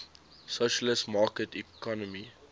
socialist market economy